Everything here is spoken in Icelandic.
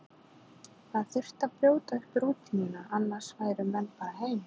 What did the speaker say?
Það þyrfti að brjóta upp rútínuna, annars færu menn bara heim.